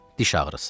Diş ağrısı.